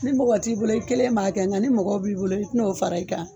Ni mɔgɔ t'i bolo i kelen b'a kɛ ŋa ni mɔgɔ b'i bolo i ti n'o fara i kan